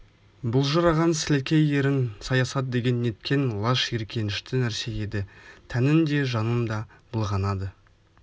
былжыраған сілекей ерін саясат деген неткен лас жиіркенішті нәрсе еді тәнің де жаның да былғанады